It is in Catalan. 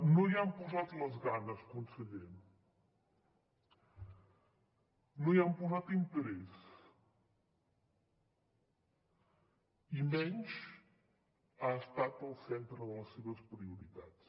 no hi han posat les ganes conseller no hi han posat interès i menys ha estat el centre de les seves prioritats